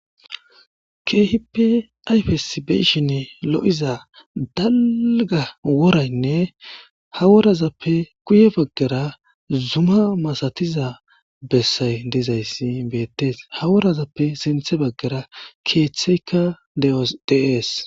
Keehippe ayfes be7ishinn lo7iza dalga woraynne haworazappe kuye baggara zuma masatiza bessay dizayssi beettes haworazappe sinthe baggara keeththeykka dees.